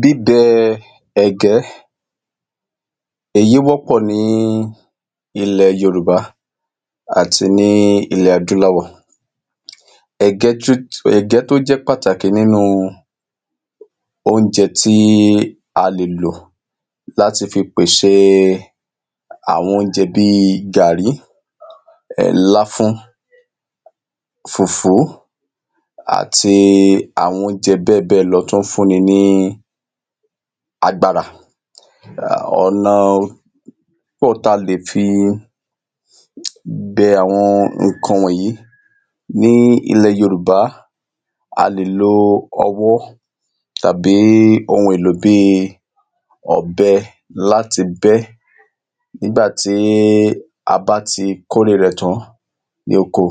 bí bẹ ẹ̀gẹ́ èyí wọ́pọ̀ ní ilẹ̀ yorùbá àti ní ilẹ̀ adúláwọ̀ ẹ̀gẹ́ tó jẹ́ pàtàkì nínú oúnje tí a lè lò láti fi pèsè àwọn oúnjẹ bi gàrí, láfún, fùfú àti àwọn oúnjẹ bẹ́ẹ̀bẹ́ẹ̀lọ tó ń fúnni ní agbára ọ̀nà pọ̀ tá le fi bẹ àwọn ǹkan wọ̀nyí ní ilẹ̀ yorùbá, a lè lo ọwọ́ tàbí ohun èlò bí ọ̀bẹ láti bẹ́ nígbà tí a bá ti kórè rẹ̀ tán ní oko,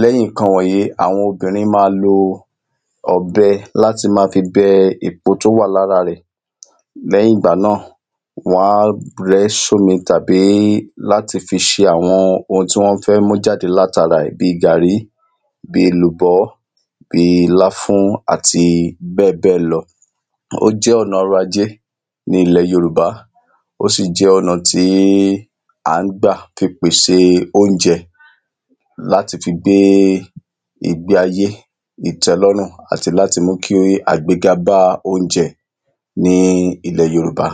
lẹ́yìn ǹkan wọ̀nyí àwọn obìrin ma lo ọ̀bẹ láti ma fi bẹ èpo tó wà ní ara rẹ̀, lẹ́yìn ìgbà náà wọn á rẹ ṣómi tàbí láti fi ṣe àwọn ohun tán fẹ́ mú jáde lara ẹ̀, bi gàrí bi èlùbọ́ bi láfún àti bẹ́ẹ̀bẹ́ẹ̀ lọ ó jẹ́ ọ̀nà ọrọ̀ ajé ní ilẹ̀ yorùbá ó sì jẹ́ ọ̀nà tí a ń gbà fi pèsè oúnjẹ láti fi gbé ìgbéayé ìtẹ́lọ́rùn àti láti mú kí àgbéga bá oúnjẹ ní ilẹ̀ yorùbá